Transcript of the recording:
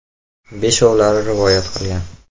Beshovlari rivoyat qilgan.